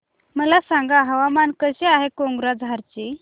मला सांगा हवामान कसे आहे कोक्राझार चे